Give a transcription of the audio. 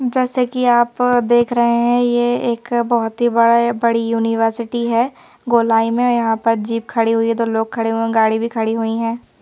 जैसे कि आप अ देख रहे हैं ये एक बहुत ही बड़ा बड़ी यूनिवर्सिटी हैं गोलाई में यहाँ पर जीप खड़ी हुई हैं तो लोग खड़े हुए हैं गाड़ी भी खड़ी हुई हैं।